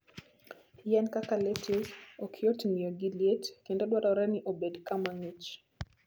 Yien kaka lettuce ok yot ng'iyo gi liet kendo dwarore ni obed kama ng'ich.